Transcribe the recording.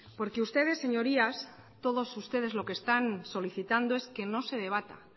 porque ustedes señorías todos ustedes lo que están solicitando es que no se debata